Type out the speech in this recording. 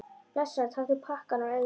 Blessaður, taktu pakkann og eigðu hann.